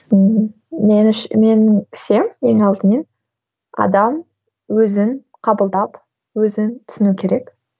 меніңше ең алдымен адам өзін қабылдап өзін түсінуі керек